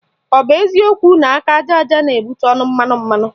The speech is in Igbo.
Ọ bụ eziokwu na aka aja aja na-ebute ọnụ mmanụ mmanụ?